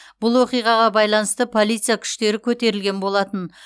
бұл оқиғаға байланысты полиция күштері көтерілген болатын